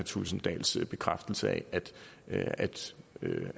thulesen dahls bekræftelse af